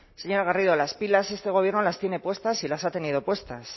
señora garrido las pilas este gobierno las tiene puestas y las ha tenido puestas